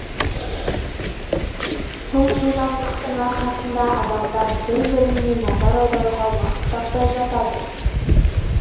сол жылдамдықтың арқасында адамдар бір біріне назар аударуға уақыт таппай жатады